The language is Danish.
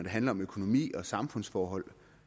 handler om økonomi og samfundsforhold